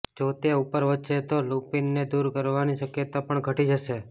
જો તે ઉપર વધશે તો લુપિનને દૂર કરવાની શક્યતા પણ ઘટી જશે